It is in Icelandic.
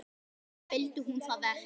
Eða vildi hún það ekki?